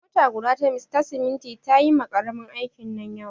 Mota guda ta siminti ta yi ma ƙaramin aikin nan yawa.